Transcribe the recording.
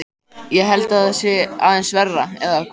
Ég held að það sé aðeins verra, eða hvað?